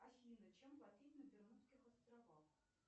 афина чем платить на бермудских островах